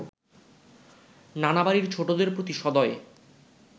নানা বাড়ির ছোটদের প্রতি সদয়